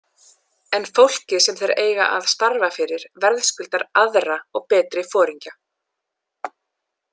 En fólkið sem þeir eiga að starfa fyrir verðskuldar aðra og betri foringja.